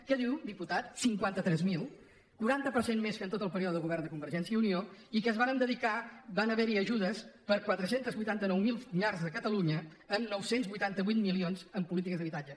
què diu diputat cinquanta tres mil quaranta per cent més que en tot el període de govern de convergència i unió i que van haver hi ajudes per a quatre cents i vuitanta nou mil llars a catalunya amb nou cents i vuitanta vuit milions en polítiques d’habitatge